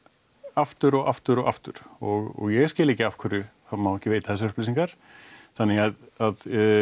aftur og aftur og aftur og ég skil ekki af hverju það má ekki veita þessar upplýsingar þannig að